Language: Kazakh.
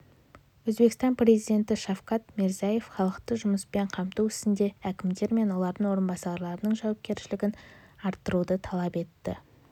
өзбекстан президенті шавкат мирзияев халықты жұмыспен қамту ісінде әкімдер мен олардың орынбасарларының жауапкершілігін арттыруды талап етті